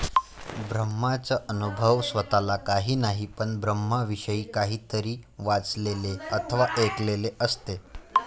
ब्रह्माचा अनुभव स्वतःला काही नाही, पण ब्रह्माविषयी काहीतरी वाचलेले अथवा ऐकलेले असते.